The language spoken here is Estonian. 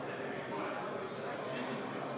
See tuleb meil uuesti teha.